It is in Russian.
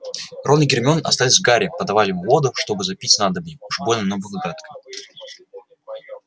рон и гермиона остались с гарри подавали ему воду чтобы запить снадобье уж больно оно было гадкое